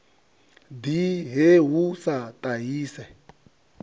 ḓi he hu sa ṱahise